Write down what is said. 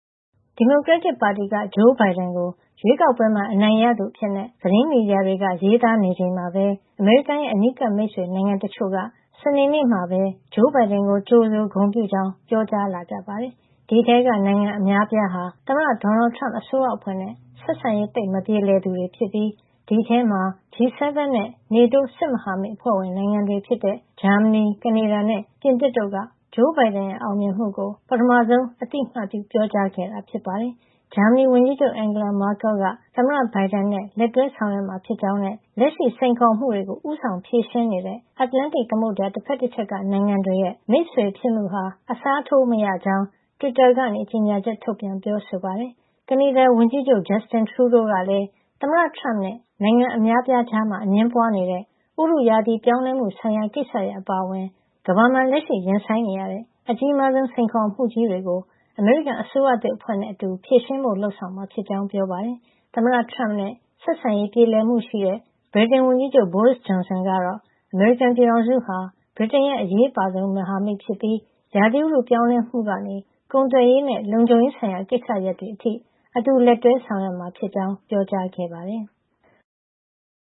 ဒီမိုကရက်တစ်ပါတီက Joe Biden ကို ရွေးကောက်ပွဲမှာ အနိုင်ရသူအဖြစ် သတင်းမီဒီယာတွေက ရေးသားနေချိန်မှာပဲ အမေရိကန်နိုင်ငံရဲ့ အနီးကပ်မိတ်ဆွေ နိုင်ငံတချို့က စနေနေ့မှာပဲ Joe Biden ကို ကြိုဆိုဂုဏ်ပြုကြောင်း ပြောကြားလာကြပါတယ်။ ဒီအထဲက နိုင်ငံအများအပြားဟာ သမ္မတ Donald Trump အစိုးရအဖွဲ့နဲ့ ဆက်ဆံရေး သိပ်မပြေလည်သူတွေဖြစ်ပြီး ဒီအထဲမှာ G7 နဲ့ NATO စစ်မဟာမိတ် အဖွဲ့ဝင်နိုင်ငံတွေဖြစ်တဲ့ ဂျာမနီ၊ ကနေဒါနဲ့ ပြင်သစ်တို့က ပထမဆုံး Joe Biden ရဲ့ အောင်မြင်မှုကို အသိအမှတ်ပြု ပြောကြားခဲ့တာ ဖြစ်ပါတယ်။ ဂျာမနီဝန်ကြီးချုပ် Angela Merkel က သမ္မတ Biden နဲ့ လက်တွဲဆောင်ရွက်မှာ ဖြစ်ကြောင်းနဲ့ လက်ရှိစိန်ခေါ်မှုတွေကို ဦးဆောင်ဖြေရှင်းနေတဲ့ အတ္တလန္တိတ် သမုဒ္ဒရာ တဖက်တချက်က နိုင်ငံတွေရဲ့ မိတ်ဆွေဖြစ်မှုဟာ အစားထိုးမရကြောင်း တွစ်တာကနေ ကြေညာချက်ထုတ်ပြန် ပြောဆိုပါတယ်။ ကနေဒါဝန်ကြီးချုပ် Justin Trudeau ကလည်း သမ္မတ Trump နဲ့ နိုင်ငံအများအပြားကြားမှာ အငြင်းပွားနေတဲ့ ဥတုရာသီ ပြောင်းလဲမှုဆိုင်ရာကိစ္စရပ် အပါအဝင် ကမ္ဘာမှာ လက်ရှိရင်ဆိုင်နေရတဲ့ အကြီးမားဆုံး စိန်ခေါ်မှုကြီးတွေကို အမေရိကန်အစိုးရသစ် အဖွဲ့နဲ့အတူ ဖြေရှင်းဖို့ လုပ်မှာဖြစ်ကြောင်း ပြောပါတယ်။ သမ္မတ Trump နဲ့ ဆက်ဆံရေး ပြေလည်မှုရှိတဲ့ ဗြိတိန်ဝန်ကြီးချုပ် Boris Johnson ကတော့ အမေရိကန်ပြည်ထောင်စုဟာ ဗြိတိန်ရဲ့ အရေးအပါဆုံး မဟာမိတ်ဖြစ်ပြီး ဥတုရာသီပြောင်းလဲမှုကနေ ကုန်သွယ်ရေးနဲ့ လုံခြုံရေးဆိုင်ရာတွေအထိ အတူတကွ လက်တွဲ ဆောင်ရွက်မှာဖြစ်ကြောင်း ပြောကြားခဲ့ပါတယ်။